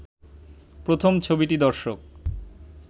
প্রথম ছবিটি দর্শক